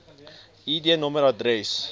id nommer adres